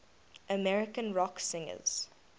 american rock singers